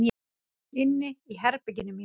Inni í herberginu mínu.